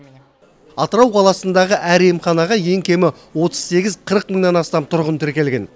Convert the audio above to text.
атырау қаласындағы әр емханаға ең кемі отыз сегіз қырық мыңнан астам тұрғын тіркелген